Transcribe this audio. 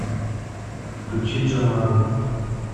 включи джамару